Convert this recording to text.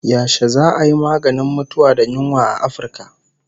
Yashe za'a yi maganin mutuwa da yunwa a Afirka?